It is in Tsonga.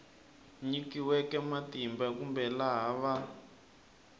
nyikiweke matimba kumbe laha va